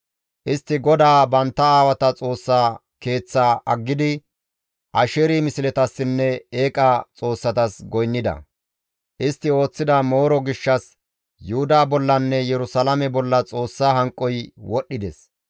Istti GODAA bantta aawata Xoossa Keeththaa aggidi Asheeri misletassinne eeqa xoossatas goynnida; istti ooththida mooro gishshas Yuhuda bollanne Yerusalaame bolla Xoossa hanqoy wodhdhides.